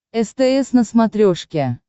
стс на смотрешке